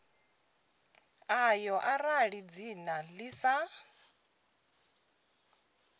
ḽayo arali dzina ḽi sa